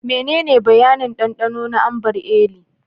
Menene bayanin dandano na Ambar Eli?